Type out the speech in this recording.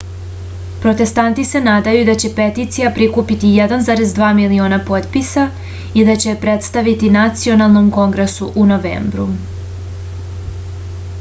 protestanti se nadaju da će peticija prikupiti 1,2 miliona potpisa i da će je predstaviti nacionalnom kongresu u novembru